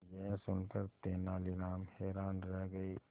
यह सुनकर तेनालीराम हैरान रह गए